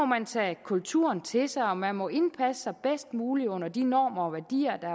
man tage kulturen til sig og man må indpasse sig bedst muligt under de normer og værdier der